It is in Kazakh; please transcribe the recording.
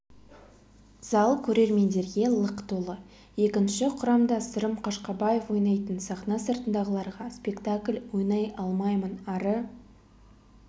зал көрермендерге лық толы екінші құрамда сырым қашқабаев ойнайтын сахна сыртындағыларға спектакль ойнай алмаймын ары